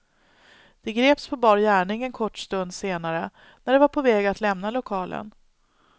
De greps på bar gärning en kort stund senare när de var på väg att lämna lokalen.